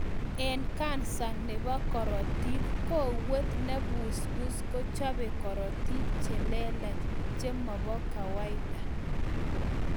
Eng kansa nebo korotik, kowet nebusbus ko chobe kortik chelelach chemobo kawaida